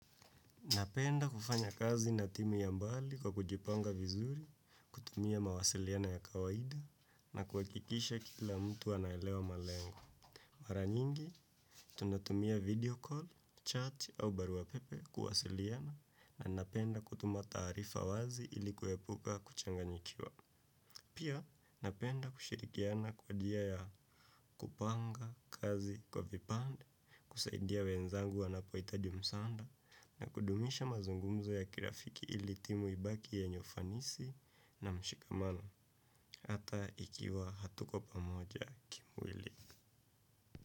Napenda kufanya kazi na timu ya mbali kwa kujipanga vizuri, kutumia mawasiliano ya kawaida, na kuhakikisha kila mtu anaelewa malengo. Mara nyingi, tunatumia 'video call, chat' au barua pepe kuwasiliana na napenda kutuma taarifa wazi ili kuepuka kuchanganyikiwa. Pia napenda kushirikiana kwa njia ya kupanga kazi kwa vipande, kusaidia wenzangu wanapohitaji msaada, na kudumisha mazungumzo ya kirafiki ili timu ibaki yenye ufanisi na mshikamano, hata ikiwa hatuko pamoja kimwili.